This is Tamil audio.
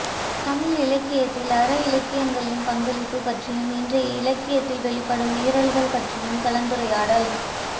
தமிழ் இலக்கியத்தில் அற இலக்கியங்களின் பங்களிப்பு பற்றியும் இன்றைய இலக்கியத்தில் வெளிப்படும் மீறல்கள் பற்றியும் கலந்துரையாடல்